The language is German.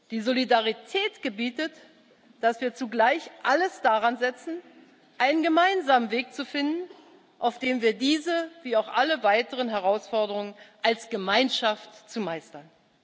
Die Solidarität gebietet, dass wir zugleich alles daransetzen, einen gemeinsamen Weg zu finden, auf dem wir diese wie auch alle weiteren Herausforderungen als Gemeinschaft meistern.